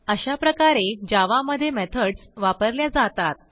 अशाप्रकारे जावा मधे मेथडस वापरल्या जातात